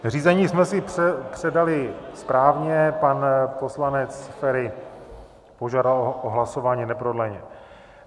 Řízení jsme si předali správně, pan poslanec Feri požádal o hlasování neprodleně.